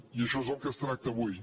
i això és el que es tracta avui